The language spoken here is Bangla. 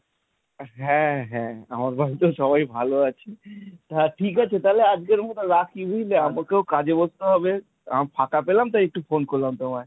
হ্যাঁ হ্যাঁ আমার বাড়িতে সবাই ভালো আছে। তা ঠিক আছে তাহলে আজকের মতো রাখি বুঝলে আমাকেও কাজে বসতে হবে, এখন ফাঁকা পেলাম তাই একটু ফোন করলাম তোমায়।